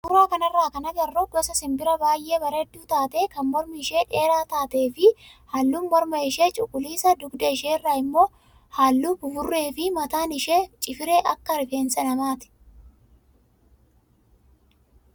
Suuraa kanarraa kan agarru gosa simbiraa baay'ee bareedduu taatee kan mormi ishee dheeraa taatee fi halluun morma ishee cuquliisa dugda isheerraa immoo halluu buburree fi mataan ishee cifiree akka rifeensa namaati.